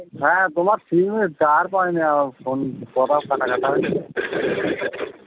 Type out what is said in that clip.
হ্যা তোমার সিম এ টাওয়ার পাইনা ফোন কথা কাটাকাটা